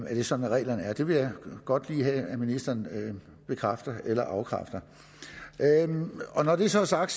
er sådan reglerne er det vil jeg godt lige have at ministeren bekræfter eller afkræfter når det så er sagt